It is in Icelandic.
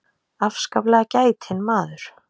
Afskaplega gætinn maður.